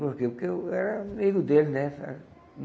Porque que eu era amigo deles, né? Ah